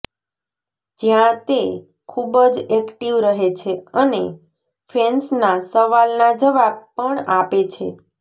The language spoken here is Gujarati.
જ્યાં તે ખૂબ જ એક્ટિવ રહે છે અને ફેન્સના સવાલના જવાબ પણ આપે છે